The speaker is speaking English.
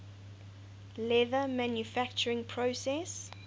leather manufacturing process